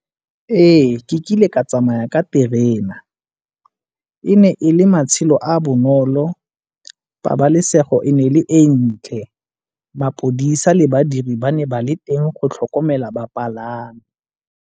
Ee, ke kile ka tsamaya ka terena. E ne e le matshelo a bonolo, pabalesego e ne e le e ntle, mapodisa le badiri ba ne ba le teng go tlhokomela bapalami.